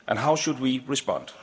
How should we respond?